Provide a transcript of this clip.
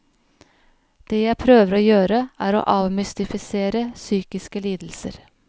Det jeg prøver å gjøre, er å avmystifisere psykiske lidelser.